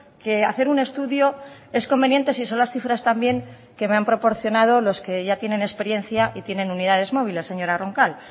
que hacer un estudio es conveniente si son las cifras también que me han proporcionado los que ya tienen experiencia y tienen unidades móviles señora roncal